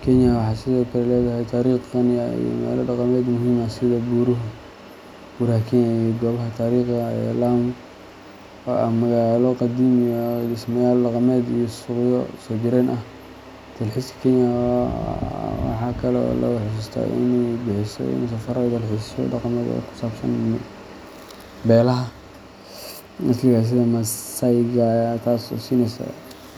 Kenya waxay sidoo kale leedahay taariikh qani ah iyo meelo dhaqameed muhiim ah sida Buuraha Kenya iyo Goobaha Taariikhiga ah ee Lamu, oo ah magaalo qadiimi ah oo leh dhismayaal dhaqameed iyo suuqyo soo jireen ah. Dalxiiska Kenya waxa kale oo lagu xusuustaa inay bixiso safaro iyo dalxiisyo dhaqameed oo ku saabsan beelaha asaliga ah sida Maasai-ga, taas oo siinaysa .